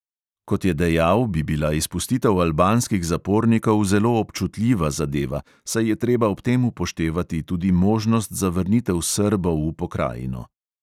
Kot je dejal, bi bila izpustitev albanskih zapornikov zelo občutljiva zadeva, saj je treba ob tem upoštevati tudi možnost za vrnitev srbov v pokrajino.